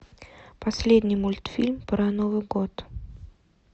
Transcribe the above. последний мультфильм про новый год